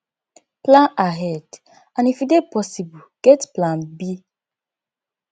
plan ahead and if e dey possible get plan b